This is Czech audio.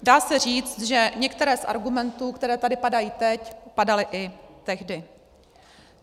Dá se říct, že některé z argumentů, které tady padají teď, padaly i tehdy.